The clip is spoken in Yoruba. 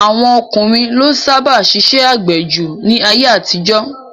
Àwọn ọkùnrin ló sábà ṣiṣẹ́ àgbẹ̀ jù ní ayé-àtijọ́.